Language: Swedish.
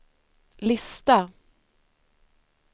lista